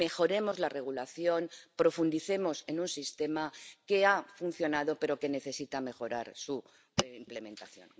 Mejoremos la regulación y profundicemos en un sistema que ha funcionado pero que necesita mejorar su implementación.